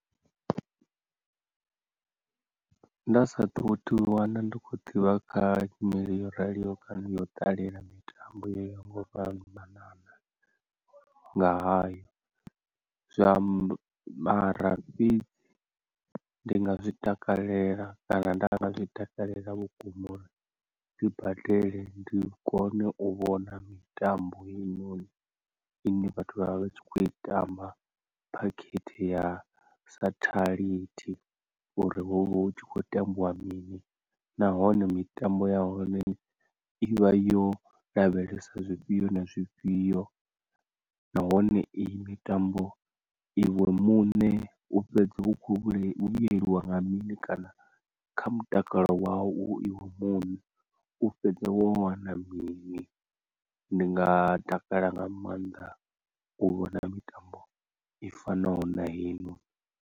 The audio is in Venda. Nda sathu u ḓiwana ndi kho ḓivha kha nyimele yo raliho kana ya u ṱalela mitambo yo nga u fhambanana nga hayo, zwa mara fhedzi ndi nga zwitakalela kana nda nga zwi takalela vhukuma uri ndi badele ndi kone u vhona mitambo heyi noni ine vhathu vha vha vha tshi kho i tamba phakhethe ya sathalithi uri huvha hu tshi khou tambiwa mini, nahone mitambo ya hone ivha yo lavhelesa zwifhio na zwifhio nahone iyi mitambo iwe muṋe u fhedza u kho vhuyelwa nga mini kana kha mutakalo wau iwe muṋe, u fhedza wana mini, ndi nga takalela nga maanḓa u vhona mitambo i fanaho na heinoni.